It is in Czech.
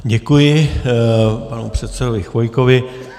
Děkuji panu předsedovi Chvojkovi.